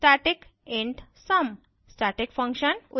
उदाहरण static int sum;